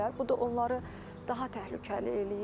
Bu da onları daha təhlükəli eləyir.